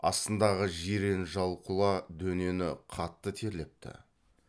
астындағы жирен жал құла дөнені қатты терлепті